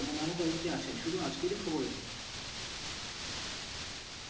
আরো কয়েকটি আছে। শুধু আজকেরই খবর এটি।